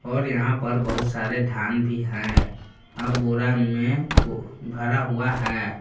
और यहां पर बहुत सारे धान भी हैं आ बोरा में भरा हुआ है।